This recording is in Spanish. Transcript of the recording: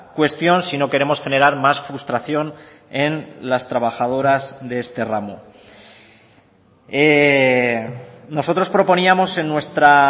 cuestión si no queremos generar más frustración en las trabajadoras de este ramo nosotros proponíamos en nuestra